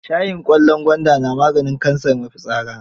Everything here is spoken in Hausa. Shayin ƙwallon gwaanda na maganin kansar mafitsara.